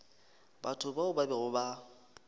batho bao ba bego ba